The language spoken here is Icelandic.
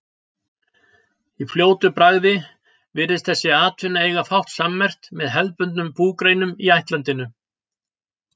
Í fljótu bragði virðist þessi atvinna eiga fátt sammerkt með hefðbundnum búgreinum í ættlandinu.